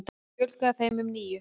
Þar fjölgaði þeim um níu.